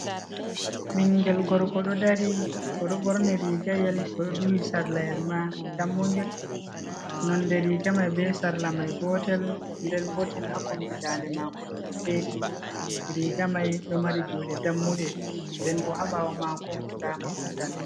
Ɓingel gorko ɗo dari o'do ɓorni rigayel oɗo duhi sarla yel dammungel, nonde rigamai be sarla mai gotel nden bo tin ha kombi dande mako ɗo ɗo feti, rigamai ɗo mari juɗe dammuɗe nden bo habawo mako nda mahol danewol.